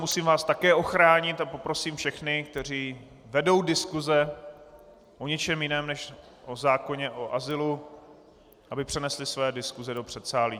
Musím vás také ochránit a poprosím všechny, kteří vedou diskuse o něčem jiném než o zákoně o azylu, aby přenesli své diskuse do předsálí.